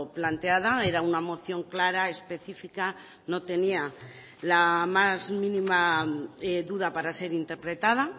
planteada era una moción clara específica no tenía la más mínima duda para ser interpretada